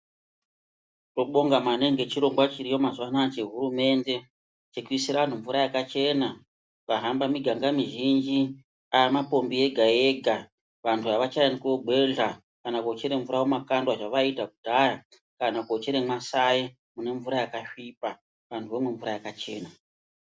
Tinobonga maningi ngechirongwa chiriyo mazuva anaya chehurumende chekuisira anhu mvura yakachena. Ukahamba miganga mizhinji amapombi ega ega vantu havachaendi koogwedhla kana koochere mvura mumakandwa zvevaiita kudhaya kana koochere maSaye mune mvura yakasvipa vantu vomwa mvura yakachena.